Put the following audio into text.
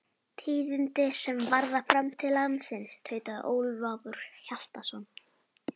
Tíðindi sem varða framtíð landsins, tautaði Ólafur Hjaltason.